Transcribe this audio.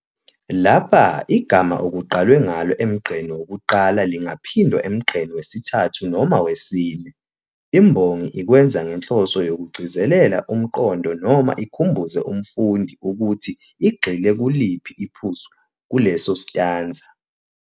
Lapha igama okuqalwe ngalo emgqeni wokuqala lingaphindwa emgqeni wesithathu noma wesine. Imbongi ikwenza ngenhloso yokugcizelela umqondo noma ikhumbuze umfundi ukuthi igxile kuliphi iphuzu kuleso sitanza.